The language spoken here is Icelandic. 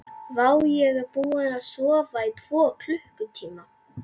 Vá, ég er búinn að sofa í tvo klukkutíma.